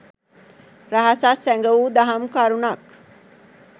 රහසක්, සැඟ වූ දහම් කරුණක්